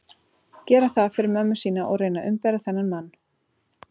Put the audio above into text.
Gera það fyrir mömmu sína að reyna að umbera þennan mann?